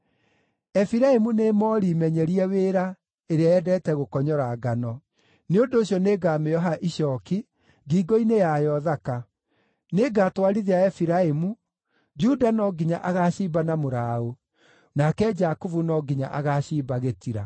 Efiraimu nĩ moori menyerie wĩra ĩrĩa yendete gũkonyora ngano; nĩ ũndũ ũcio nĩngamĩoha icooki ngingo-inĩ yayo thaka. Nĩngatwarithia Efiraimu, Juda no nginya agaacimba na mũraũ, nake Jakubu no nginya agaacimba gĩtira.